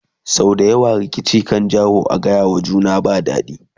sau da yawa rikici kan janyo a gayawa juna ba daɗi